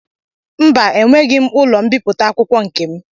Mba enweghị m ụlọ mbipụta akwụkwọ nkem